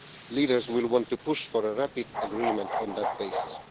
Leaders will want to push for a rapid agreement on that basis.